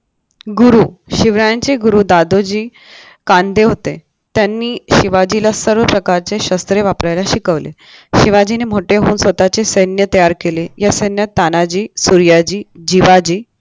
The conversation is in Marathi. गुरु शिवरायांचे गुरु दादोजी कांदे होते त्यांनी शिवाजीला सर्व प्रकारचे शस्त्र वापरायला शिकवले शिवाजीने मोठे होऊन स्वतःचे सैन्य तयार केले या सैन्यात तानाजी सूर्याजी जिवाजी